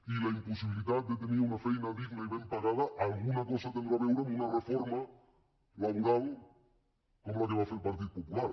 i la impossibilitat de tenir una feina digna i ben pagada alguna cosa deu tenir a veure amb una reforma laboral com la que va fer el partit popular